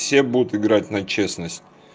все будут играть на честность